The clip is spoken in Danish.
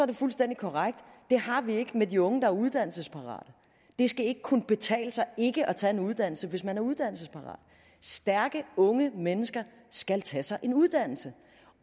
det fuldstændig korrekt at det har vi ikke med de unge der er uddannelsesparate det skal ikke kunne betale sig ikke at tage en uddannelse hvis man er uddannelsesparat stærke unge mennesker skal tage sig en uddannelse